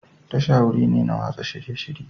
Tasha wuri ne na watsa shirye-shirye.